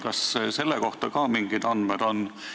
Kas selle kohta on ka mingeid andmeid?